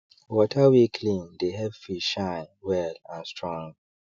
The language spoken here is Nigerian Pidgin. water wey clean dey help fish shine well and strong